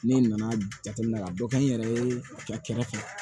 Ne nana jateminɛ ka dɔ kɛ n yɛrɛ ye a kɛrɛfɛ